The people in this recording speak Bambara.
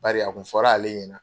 Bari a kun fɔr'ale ɲɛna